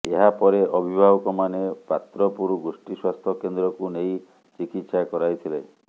ଏହାପରେ ଅଭିଭାବକମାନେ ପାତ୍ରପୁର ଗୋଷ୍ଠୀ ସ୍ୱାସ୍ଥ୍ୟ କେନ୍ଦ୍ରକୁ ନେଇ ଚିକିତ୍ସା କରାଇଥିଲେ